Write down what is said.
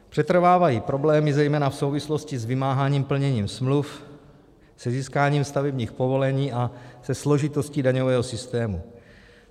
Přetrvávají problémy zejména v souvislosti s vymáháním plnění smluv, se získáním stavebních povolení a se složitostí daňového systému.